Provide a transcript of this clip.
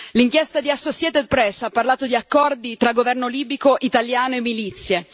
L'inchiesta di Associated Press ha parlato di accordi tra governo libico, italiano e milizie.